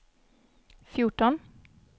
fjorton